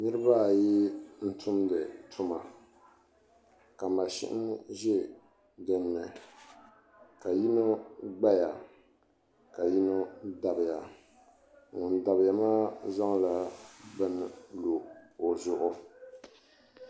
nuraba ati n tumdi tuma ka mashin ʒɛ dinni ka yino gbaya ka yino dabiya ŋun dabiya maa zaŋla bini lo o zuɣu